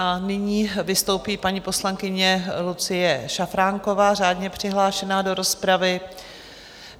A nyní vystoupí paní poslankyně Lucie Šafránková, řádně přihlášená do rozpravy.